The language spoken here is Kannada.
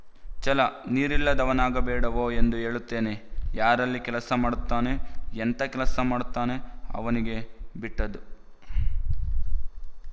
ಛಲ ನೀರಿಲ್ಲದವನಾಗಬೇಡವೋ ಎಂದು ಹೇಳುತ್ತೇನೆ ಯಾರಲ್ಲಿ ಕೆಲಸ ಮಾಡುತ್ತಾನೆ ಎಂತ ಕೆಲಸ ಮಾಡುತ್ತಾನೆ ಅವನಿಗೆ ಬಿಟ್ಟದ್ದು